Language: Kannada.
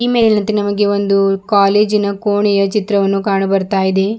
ಈ ಮೇಲಿನಂತೆ ನಮಗೆ ಒಂದು ಕಾಲೇಜಿನ ಕೋಣೆಯ ಚಿತ್ರವನ್ನು ಕಾಣಬರ್ತಾ ಇದೆ.